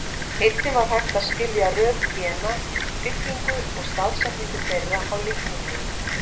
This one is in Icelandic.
Einnig var hægt að skilja röð gena, byggingu og staðsetningu þeirra á litningum.